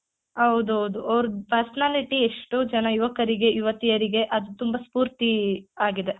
ಹೌದೌದು ಅವ್ರುದ್ personality ಎಷ್ಟೋ ಜನ ಯುವಕರಿಗೆ ಯುವತಿಯರಿಗೆ ಅದು ತುಂಬಾ ಸ್ಪೂರ್ತಿ ಆಗಿದೆ.